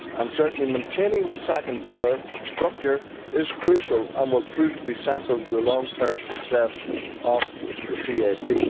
Certainly, maintaining the second pillar structure is crucial and will prove to be central to the long term success of the CAP.